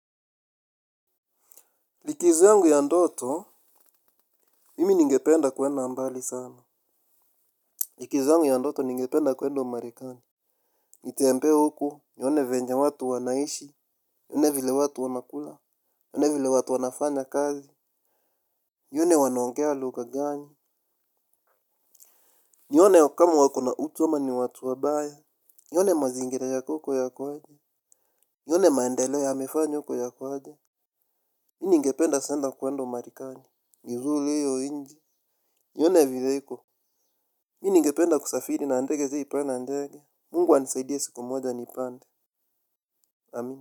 Likizo yangu ya ndoto, mimi ningependa kuenda mbali sana. Likizo yangu ya ndoto ningependa kuenda umarekani. Nitembee huko, nione vyenye watu wanaishi, nione vile watu wanakula, nione vile watu wanafanya kazi, nione wanongea lugha gani, nione kama wako na utu ama ni watu wabaya, nione mazingira yako huko yako aje, nione maendeleo yamefanywa huko yako aje. Mi ningependa sana kuenda umarekani. Nizuru hiyo nchi nione vile iko. Mi ningependa kusafiri na ndege sijai panda ndege Mungu anisaidie siku moja niipande Amin.